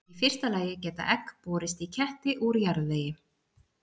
í fyrsta lagi geta egg borist í ketti úr jarðvegi